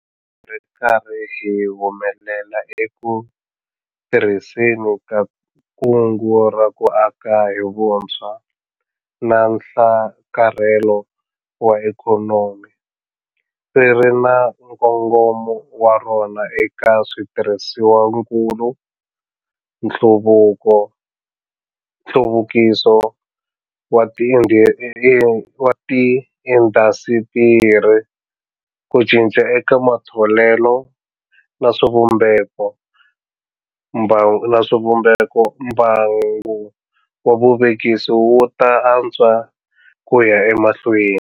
Ri karhi hi humelela eku tirhiseni ka Kungu ra ku Aka hi Vutshwa na Nhlakarhelo wa Ikhonomi - ri ri na nkongomo wa rona eka switirhisiwakulu, nhluvukiso wa tiindasitiri, ku cinca eka matholelo na swivumbeko - mbangu wa vuvekisi wu ta antswa ku ya emahlweni.